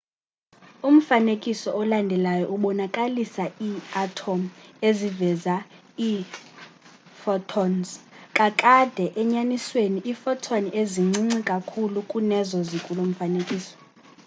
umfanekiso olandelayo ubonakalisa iiathom eziveza iiphotons kakade enyanisweni iiphoton zincinci kakhulu kunezo zikulo mfanekiso